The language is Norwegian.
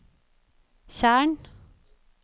tjern